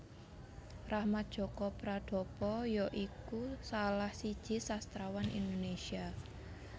Rachmat Djoko Pradopo ya iku salah siji sastrawan Indonesia